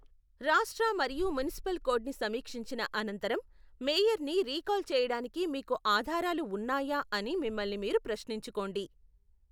రాష్ట్ర మరియు మునిసిపల్ కోడ్ని సమీక్షించిన అనంతరం, మేయర్ని రీకాల్ చేయడానికి మీకు ఆధారాలు ఉన్నాయా అని మిమ్మల్ని మీరు ప్రశ్నించుకోండి.